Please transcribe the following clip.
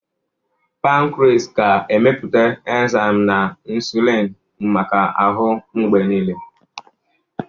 Pankris ga-emepụta enzaim na insulini maka ahụ mgbe niile.